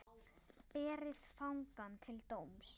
Berið fangann til dóms.